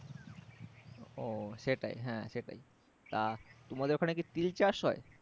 ও সেটাই হ্যাঁ সেটাই তা তোমাদের ওখানে কি তিল চাষ হয়?